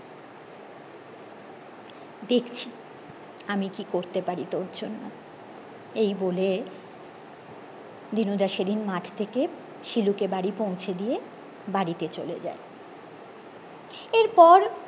দেখছি আমি কি করতে পারি তোর জন্য এই বলে দিনুদা সেইদিন মাঠ থেকে শিলুকে বাড়ি পৌঁছে দিয়ে বাড়িতে চলে যায় এর পর